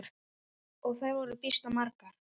Og þær voru býsna margar.